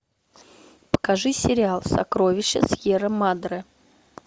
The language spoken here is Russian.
покажи сериал сокровища сьерра мадре